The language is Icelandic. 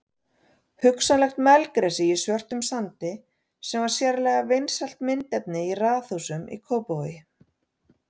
Hugsanlega melgresi í svörtum sandi sem var sérlega vinsælt myndefni í raðhúsum í Kópavogi.